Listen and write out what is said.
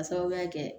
K'a sababuya kɛ